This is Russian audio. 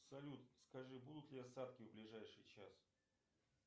салют скажи будут ли осадки в ближайший час